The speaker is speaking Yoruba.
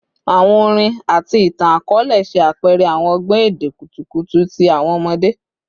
Awọn orin ati itan-akọọlẹ ṣe apẹrẹ awọn ọgbọn ede kutukutu ti awọn ọmọde